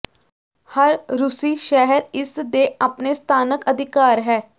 ਹਰ ਰੂਸੀ ਸ਼ਹਿਰ ਇਸ ਦੇ ਆਪਣੇ ਸਥਾਨਕ ਅਧਿਕਾਰ ਹੈ